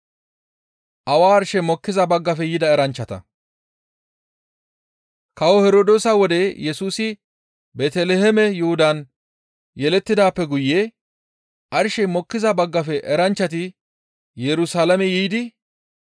Kawo Herdoosa wode Yesusi Beeteliheeme Yuhudan yelettidaappe guye arshey mokkiza baggafe eranchchati Yerusalaame yiidi,